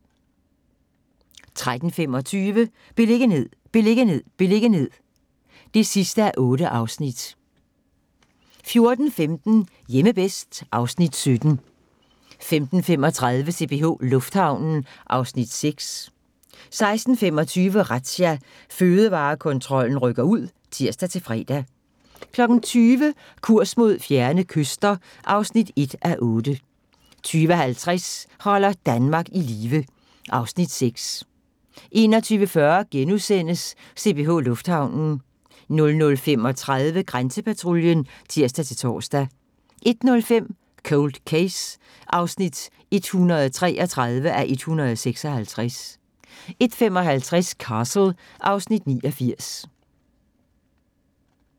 13:25: Beliggenhed, beliggenhed, beliggenhed (8:8) 14:15: Hjemme bedst (Afs. 17) 15:35: CPH Lufthavnen (Afs. 6) 16:25: Razzia – Fødevarekontrollen rykker ud (tir-fre) 20:00: Kurs mod fjerne kyster (1:8) 20:50: Holder Danmark i live (Afs. 6) 21:40: CPH Lufthavnen * 00:35: Grænsepatruljen (tir-tor) 01:05: Cold Case (133:156) 01:55: Castle (Afs. 89)